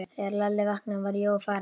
Þegar Lalli vaknaði var Jói farinn.